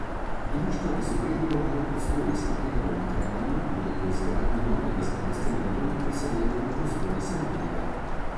Društva, ki so prej delovala v prostorih starega doma krajanov, bodo po izgradnji novega zdravstvenega doma preseljena v prostore sedanjega.